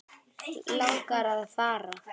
Langar að fara.